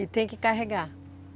E tem que carregar?